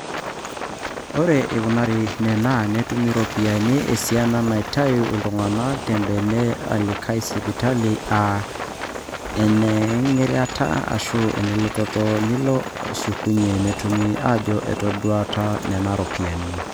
ore eing'uraki nena, netumi iropiyiani esiana naaitau oltung'ani tembene alakie sipitali aa enengiragata aashu enelototo nilo nishukunye netumi aajo etadoutuo nena ropiyiani